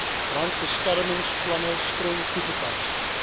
brandbeskermingsplanne streng toegepas